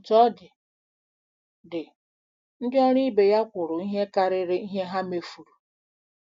Otú ọ dị, dị, ndị ọrụ ibe ya kwuru ihe karịrị ihe ha mefuru.